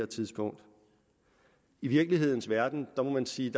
tidspunkt i virkelighedens verden må man sige